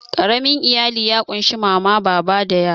Ƙaramin iyali ya ƙunshi mama, baba da yara.